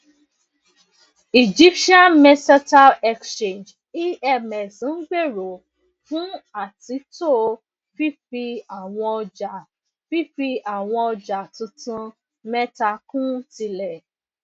egyptian mercantile exchange emx ngbero fun atunto fifi awọn ọja fifi awọn ọja tuntun meta kun tile